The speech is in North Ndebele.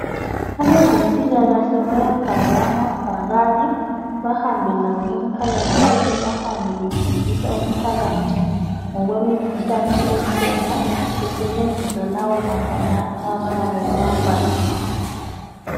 Abezempilakahle bayabhala amabhakane bahambe lawo emphakathini bahambe befundisa umphakathi ngokwemikhuhlane ekhona besebenzisa lawo mabhakani abayabe bewabhalile.